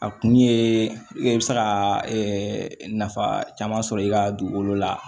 A kun ye i bɛ se ka nafa caman sɔrɔ i ka dugukolo la